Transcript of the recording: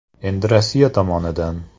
Endi Rossiya tomonidan.